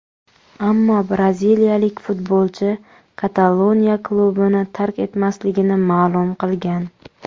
Ammo braziliyalik futbolchi Kataloniya klubini tark etmasligini ma’lum qilgan.